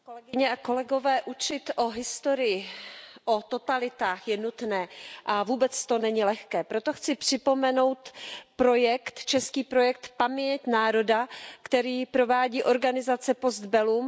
Pane předsedající, učit o historii, o totalitách je nutné a vůbec to není lehké. Proto chci připomenout český projekt Paměť národa, který provádí organizace Post Bellum.